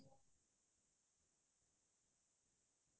এতিয়া ফলা ফল উলোৱা নাই এতিয়ালৈকে